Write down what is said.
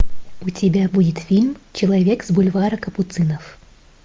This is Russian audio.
у тебя будет фильм человек с бульвара капуцинов